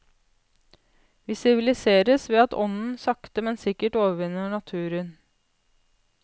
Vi siviliseres ved at ånden sakte, men sikkert overvinner naturen.